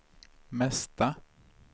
mesta